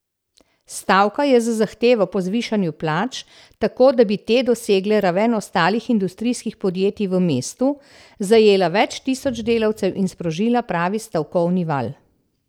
Stavka je z zahtevo po zvišanju plač, tako da bi te dosegle raven ostalih industrijskih podjetij v mestu, zajela več tisoč delavcev in sprožila pravi stavkovni val.